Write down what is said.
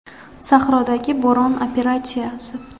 Sahrodagi bo‘ron operatsiyasi.